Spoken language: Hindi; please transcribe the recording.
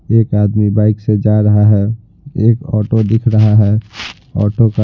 एक आदमी बाइक से जा रहा है एक ऑटो दिख रहा है ऑटो का --